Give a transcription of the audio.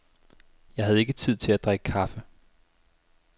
Jeg havde ikke tid til at drikke kaffe.